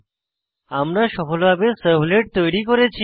আমরা সফলভাবে সার্ভলেট তৈরি করেছি